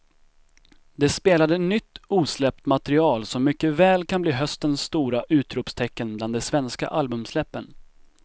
De spelade nytt osläppt material som mycket väl kan bli höstens stora utropstecken bland de svenska albumsläppen.